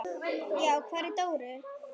Já, hvar var Dóri?